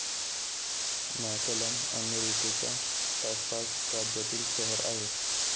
McAllen अमेरिकेच्या Texas राज्यातील शहर आहे.